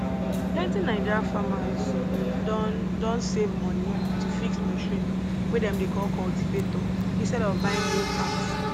plenty naija farmers don don save money to fix machine wey dem dey call cultivator instead of buying new parts